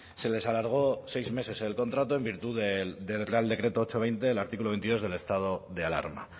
se les alargó seis meses el contrato en virtud del real decreto ocho barra veinte el artículo veintidós el estado de alarma